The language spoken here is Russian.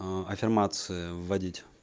ээ аффирмацияв вводить